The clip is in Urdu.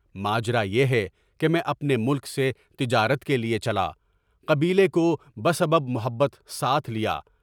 ماجرا یہ ہے کہ میں اپنے ملک سے تجارت کے لیے چلا، قبیلے کو بہ سبب محبت ساتھ لیا۔